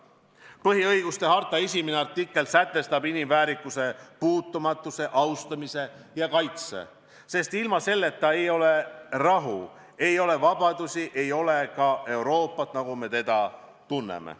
" Põhiõiguste harta esimene artikkel sätestab inimväärikuse puutumatuse, austamise ja kaitse, sest ilma selleta ei ole rahu, ei ole vabadusi, ei ole ka Euroopat, nagu me teda tunneme.